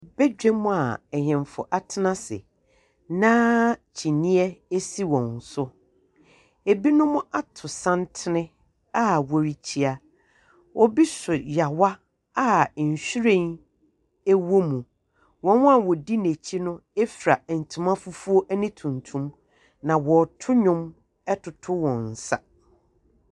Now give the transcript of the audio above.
Badwam a ahemfo atena ase, na kyineɛ asi hɔn so, ɛbinom ato santene a wɔrekyia. Obi so yaawa a nhyiren ɛwɔ mu. Wɔn a wɔdi n'akyi no efira ntoma fufuo ne tuntum, na wɔreto nnwom ɛtoto wɔn nsa.